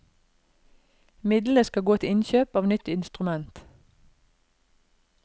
Midlene skal gå til innkjøp av nytt instrument.